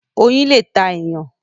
Oyin lẹ tá èèyàn.